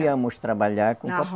Íamos trabalhar com o